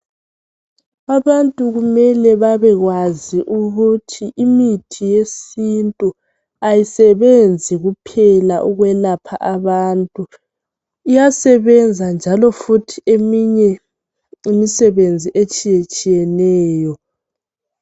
Abantu kumele babekwazi ukuthi imithi yesintu ayisebenzi kuphela ukwelapha abantu, iyasebenza njalo futhi eminye imisebenzi etshiyetshiyeneyo